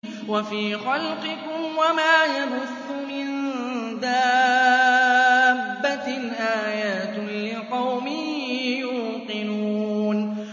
وَفِي خَلْقِكُمْ وَمَا يَبُثُّ مِن دَابَّةٍ آيَاتٌ لِّقَوْمٍ يُوقِنُونَ